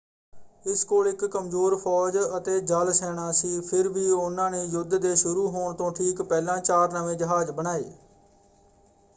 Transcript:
ਇਸ ਕੋਲ ਇੱਕ ਕਮਜ਼ੋਰ ਫੌਜ ਅਤੇ ਜਲ ਸੈਨਾ ਸੀ ਫਿਰ ਵੀ ਉਹਨਾਂ ਨੇ ਯੁੱਧ ਦੇ ਸ਼ੁਰੂ ਹੋਣ ਤੋਂ ਠੀਕ ਪਹਿਲਾਂ ਚਾਰ ਨਵੇਂ ਜਹਾਜ਼ ਬਣਾਏ।